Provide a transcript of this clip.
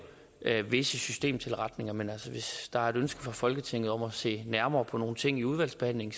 visse systemtilretninger men altså hvis der er et ønske fra folketingets side om at se nærmere på nogle ting i udvalgsbehandlingen